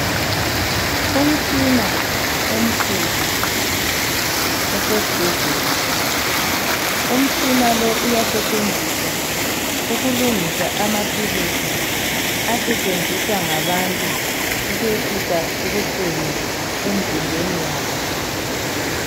Umtshina omkhulu osesibhedlela. Umtshina lo uyasetshenziswa ukulungisa amaphilisi asetshenziswa ngabantu ukwehlisa ubuhlungu emzimbeni yabo.